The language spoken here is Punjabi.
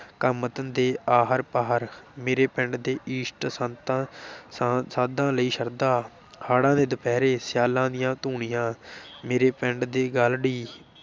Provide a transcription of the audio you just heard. ਕੰਮ ਧੰਦੇ ਆਹਰ ਪਾਹਰ, ਮੇਰੇ ਪਿੰਡ ਦੇ ਇਸ਼ਟ, ਸੰਤਾਂ ਸਾ ਸਾਧਾਂ ਲਈ ਸ਼ਰਧਾ, ਹਾੜ੍ਹਾਂ ਦੇ ਦੁਪਹਿਰੇ, ਸਿਆਲਾਂ ਦੀਆਂ ਧੂਣੀਆਂ ਮੇਰੇ ਪਿੰਡ ਦੇ ਗਾਲ੍ਹੜੀ,